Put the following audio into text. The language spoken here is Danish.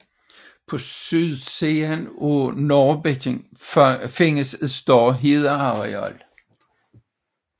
På sydsiden af Nørrebækken findes et større hedeareal